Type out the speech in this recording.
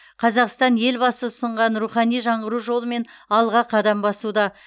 қазақстан елбасы ұсынған рухани жаңғыру жолымен алға қадам басуда